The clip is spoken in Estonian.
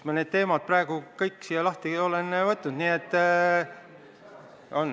Ma need teemad praegu olengi siin lahti võtnud.